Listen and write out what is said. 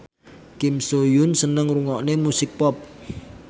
Kim So Hyun seneng ngrungokne musik pop